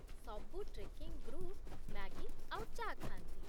ସବୁ trekking group Maggi ଆଉ ଚା' ଖାଆନ୍ତି ।